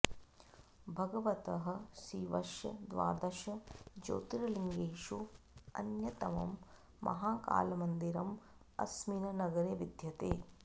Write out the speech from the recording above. भगवतः शिवस्य द्वादश ज्योतिर्लिङ्गेषु अन्यतमं महाकालमन्दिरम् अस्मिन् नगरे विद्यते